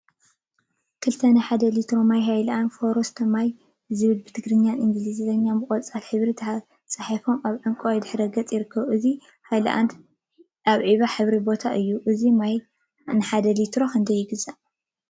ክልተ ናይ ሓደ ሊትሮ ማይ ሃይላንዲ ፎረስት ማይ ዝብል ብትግርኛን ብእንግሊዘኛን ብቆፃል ሕብሪ ተፃሒፉ አብ ዕንቋይ ድሕረ ገፅ ይርከብ፡፡ እዚ ሃይላንዲ አብ ዒባ ሕብሪ ቦታ እዩ፡፡ እዚ ማይ ንሓደ ሊትሮ ክንደይ ይግዛእ?